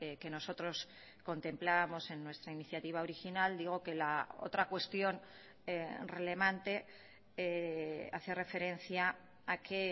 que nosotros contemplábamos en nuestra iniciativa original digo que la otra cuestión relevante hace referencia a que